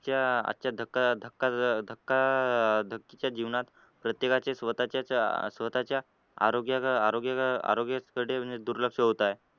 आजच्या धका धका धका धकाधकीच्या जीवनात प्रत्येकाचे स्वतःचे स्वतःचे आरोग्या आरोग्या आरोग्याकडे दुर्लक्ष होत आहे.